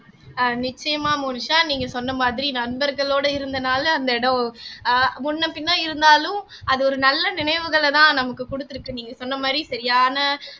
ஆஹ் நிச்சயமா மோனிஷா நீங்க சொன்ன மாதிரி நண்பர்களோட இருந்தனால அந்த இடம் ஆஹ் முன்னபின்ன இருந்தாலும் அது ஒரு நல்ல நினைவுகளதான் நமக்கு குடுத்திருக்கு சொன்ன மாதிரி சரியான